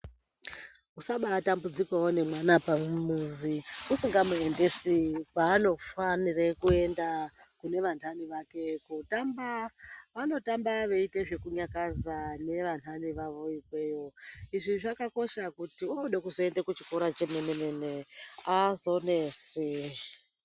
Usaba atambudzika nemwana pamuzi usingamuendesi kwaanofanire kuenda kune vanhani vake kutamba vanotamba veite zvekunyakaza nevanhani vavo ikweyo izvi zvakakosha kuti obude kuzoenda kuchikora chemenemene azonesi.